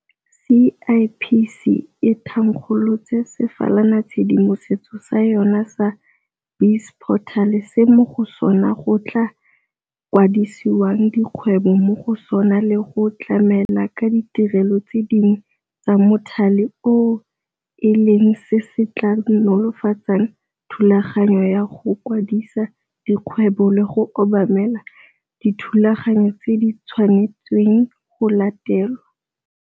CIPC e thankgolotse sefalanatshedimosetso sa yona sa BizPortal se mo go sona go tla kwadisiwang dikgwebo mo go sona le go tlamela ka ditirelo tse dingwe tsa mothale oo e leng se se tla nolofatsang thulaganyo ya go kwadisa dikgwebo le go obamela dithulaganyo tse di tshwanetsweng go latelwa.